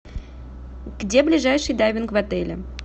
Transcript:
где ближайший дайвинг в отеле